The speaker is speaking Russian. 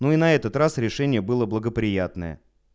ну и на этот раз решение было благоприятное